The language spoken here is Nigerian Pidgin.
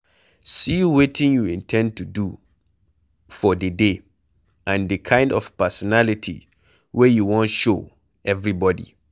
set wetin you in ten d to do for di day and di kind of personality wey you wan show everybody